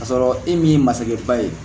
K'a sɔrɔ e min ye masakɛ ba ye